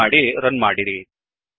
save ಮಾಡಿ run ಮಾಡಿರಿ